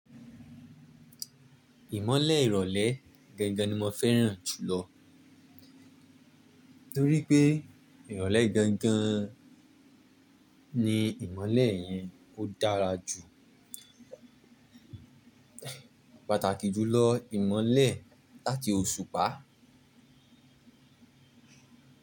Ìmọ́lẹ̀ ìrọ̀lẹ́ gangan ni mo fẹ́ràn jùlọ. Nítorí pé ìrọ̀lẹ́ gangan ni ìmọ́lẹ̀ yẹn ó dára jù, pàtàkì jùlọ ìmọ́lẹ̀ láti oṣùpá.